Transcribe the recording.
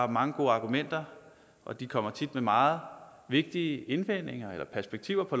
mange gode argumenter og de kommer tit med meget vigtige indvendinger eller perspektiver på